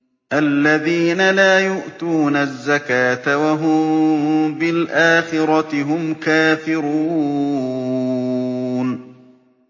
الَّذِينَ لَا يُؤْتُونَ الزَّكَاةَ وَهُم بِالْآخِرَةِ هُمْ كَافِرُونَ